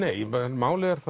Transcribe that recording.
málið er